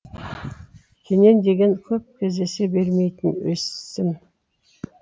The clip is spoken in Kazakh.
кенен деген көп кездесе бермейтін есім